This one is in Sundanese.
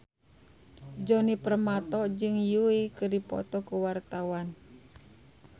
Djoni Permato jeung Yui keur dipoto ku wartawan